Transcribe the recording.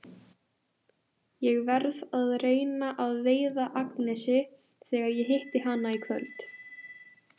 Ég verð að reyna að veiða Agnesi þegar ég hitti hana í kvöld.